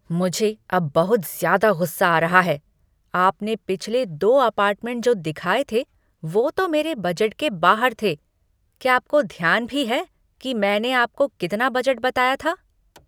मुझे अब बहुत ज़्यादा गुस्सा आ रहा है। आपने पिछले दो अपार्टमेंट जो दिखाए थे, वो तो मेरे बजट के बाहर थे। क्या आपको ध्यान भी है कि मैंने आपको कितना बजट बताया था?